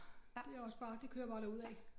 Det også bare det kører bare derudaf